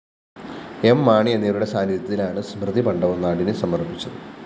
M Mani എന്നിവരുടെ സാന്നിദ്ധ്യത്തിലാണ് സ്മൃതിമണ്ഡപം നാടിന് സമര്‍പ്പിച്ചത്